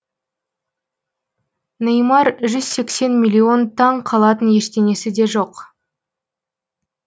неймар жүз сексен миллион таң қалатын ештеңесі де жоқ